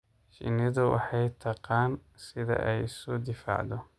Shinnidu waxay taqaan sida ay isu difaacdo.